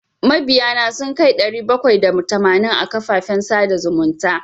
Mabiya na sun kai ɗari bakwai da tamanin a kafafen sada zumunta.